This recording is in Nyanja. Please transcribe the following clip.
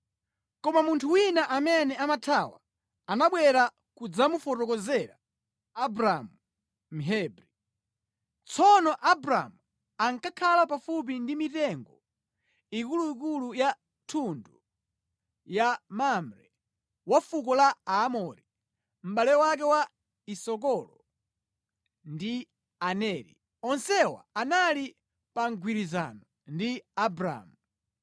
Koma munthu wina amene anathawa, anabwera kudzamufotokozera Abramu Mhebri. Tsono Abramu ankakhala pafupi ndi mitengo ikuluikulu ya thundu ya Mamre wa fuko la Aamori, mʼbale wake wa Esikolo ndi Aneri. Onsewa anali pa mgwirizano ndi Abramu.